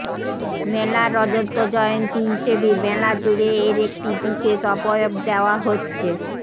মেলার রজতজয়ন্তী হিসেবে মেলাজুড়ে এর একটি বিশেষ অবয়ব দেওয়া হচ্ছে